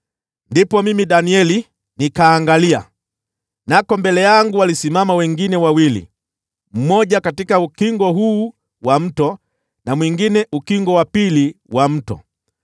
Ndipo mimi Danieli nikaangalia, nako mbele yangu walisimama wengine wawili, mmoja katika ukingo huu wa mto, na mwingine ukingo wa pili wa mto.